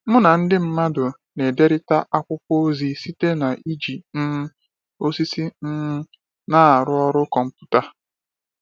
Mụ na ndị mmadụ na-ederịta akwụkwọ ozi site n'iji um osisi um na-arụ ọrụ kọmputa.